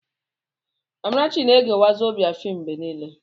Amarachi na-ege wazobíà fm mgbe niile.